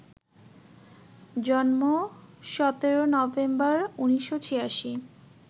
জন্ম ১৭ নভেম্বর, ১৯৮৬